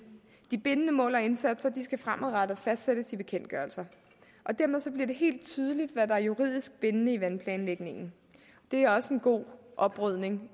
de bindende mål og indsatser skal fremadrettet fastsættes i bekendtgørelser og dermed bliver det helt tydeligt hvad der er juridisk bindende i vandplanlægningen det er også en god oprydning